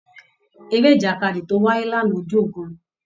Eré ìjàkadì tó wáyé lánàá dùn gan-an.